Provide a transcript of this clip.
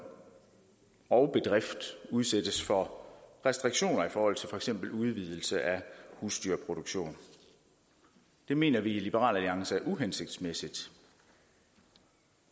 og bedrift udsættes for restriktioner i forhold til for eksempel udvidelse af husdyrproduktion det mener vi i liberal alliance er uhensigtsmæssigt